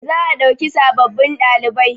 za a dauki sababbin ɗalibai